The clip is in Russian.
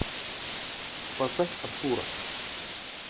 поставь артура